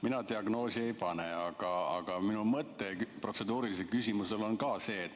Mina diagnoosi ei pane, aga minu protseduurilise küsimuse mõte on järgmine.